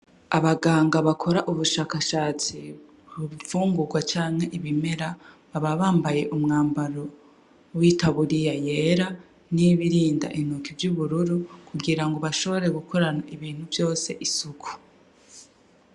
Abaganga bakora ubushakashatsi kunfungurwa canke ibimera, baba bambaye umwambaro w'itaburiya yera, n'ibirinda intoke vy'ubururu, kugirango bashobore gukorana ibintu vyose isuku.